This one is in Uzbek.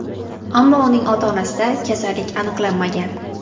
Ammo uning ota-onasida kasallik aniqlanmagan.